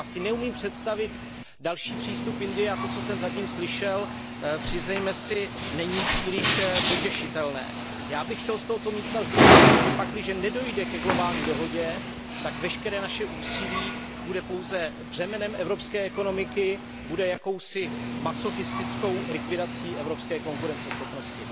Já si neumím představit další přístup Indie a to, co jsem zatím slyšel, přiznejme si, není příliš potěšitelné. Já bych chtěl z tohoto místa zdůraznit, že pakliže nedojde ke globální dohodě, tak veškeré naše úsilí bude pouze břemenem evropské ekonomiky, bude jakousi masochistickou likvidací evropské konkurenceschopnosti.